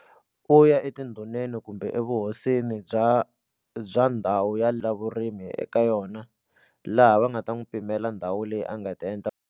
U ya etindhuneni kumbe evuhosini bya bya ndhawu ya la vurimi eka yona laha va nga ta n'wi pimela ndhawu leyi a nga ta endla.